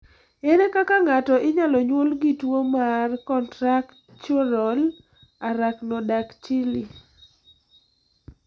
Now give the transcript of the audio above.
Ere kaka ng'ato inyalo nyuol gi tuwo mar contractural arachnodactyly?